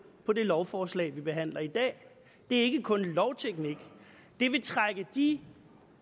på det lovforslag vi behandler i dag det er ikke kun lovteknik det vil trække de